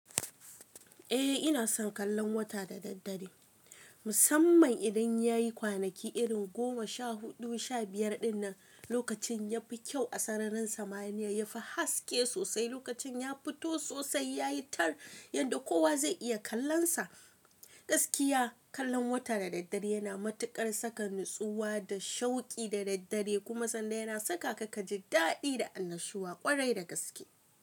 Eh ina son kallon wata da daddare. Musamman idan yayi kwanaki irin goma sha huɗu, sha biyar dinnan, lokacin yafi kyau a sararin samaniya yafi haske sosai, lokacin ya fito sosai yayi tar yadda kowa zai iya kallonsa. Gaskiya kallon wata da daddare yana matuƙar saka natsuwa da shauki da daddare kuma sanan yana sakaka kaji daɗi da annashuwa ƙwarai da gaske.